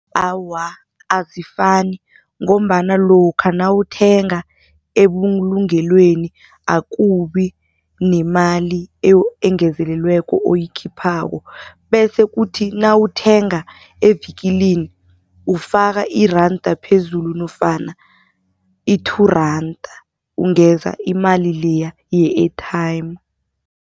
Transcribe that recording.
Awa, azifani ngombana lokha nawuthenga ebulungelweni akubi nemali engezelelweko oyikhiphako. Bese kuthi nawuthenga evikilini ufaka iranda phezulu nofana i-two randa ungeza imali leya ye-airtime.